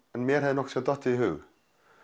mér hafði nokkurn tímann dottið í hug